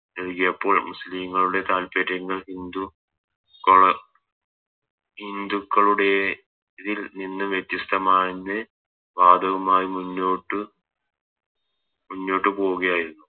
നൽകിയപ്പോൾ മുസ്ലിങ്ങളുടെ താൽപ്പര്യങ്ങൾ ഹിന്ദു ഹിന്ദുക്കളുടെ ഇതിൽ നിന്ന് വ്യത്യസ്തമാണെന്ന് വാദവുമായി മുന്നോട്ട് മുന്നോട്ട് പോകുകയായിരുന്നു